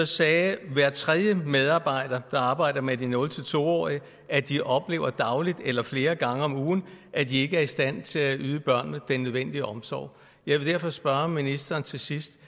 sagde hver tredje medarbejder der arbejder med de nul to årige at de oplever dagligt eller flere gange om ugen at de ikke er i stand til at yde børnene den nødvendige omsorg jeg vil derfor spørge ministeren til sidst